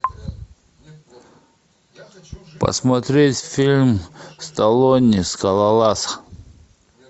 посмотреть фильм сталлоне скалолаз